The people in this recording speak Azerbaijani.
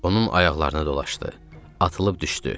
Onun ayaqlarına dolaşdı, atılıb düşdü.